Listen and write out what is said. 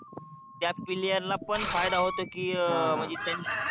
त्या player ला पण फायदा होतो की म्हणजे त्यांना